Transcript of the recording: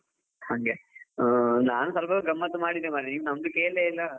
ಹಂಗೆ , ನಾನು ಸ್ವಲ್ಪ ಗಮ್ಮತ್ ಮಾಡಿದೆ ಮರ್ರೆ ನೀವು ನಮ್ಮದು ಕೇಳ್ಳೆ ಇಲ್ಲ.